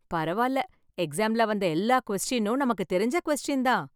பரவால்ல எக்ஸாம்ல வந்த எல்லா கொஸ்டின் நமக்கு தெரிஞ்ச கொஸ்டின் தான்